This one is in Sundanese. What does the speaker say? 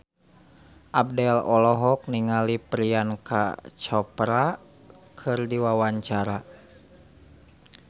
Abdel olohok ningali Priyanka Chopra keur diwawancara